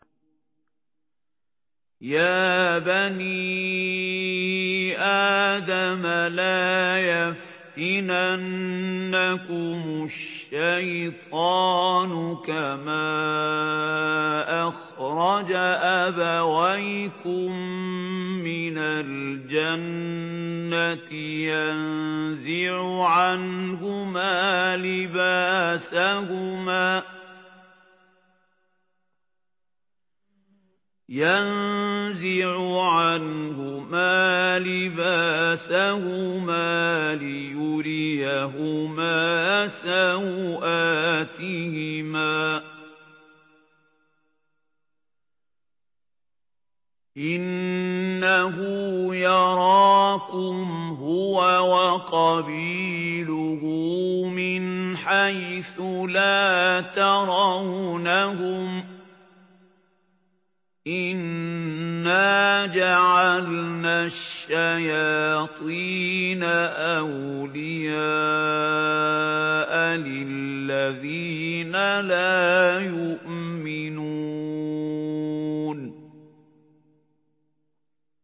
يَا بَنِي آدَمَ لَا يَفْتِنَنَّكُمُ الشَّيْطَانُ كَمَا أَخْرَجَ أَبَوَيْكُم مِّنَ الْجَنَّةِ يَنزِعُ عَنْهُمَا لِبَاسَهُمَا لِيُرِيَهُمَا سَوْآتِهِمَا ۗ إِنَّهُ يَرَاكُمْ هُوَ وَقَبِيلُهُ مِنْ حَيْثُ لَا تَرَوْنَهُمْ ۗ إِنَّا جَعَلْنَا الشَّيَاطِينَ أَوْلِيَاءَ لِلَّذِينَ لَا يُؤْمِنُونَ